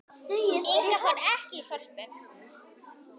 Inga fór ekki í Sorpu.